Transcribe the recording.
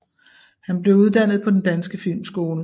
Han blev uddannet på Den Danske Filmskole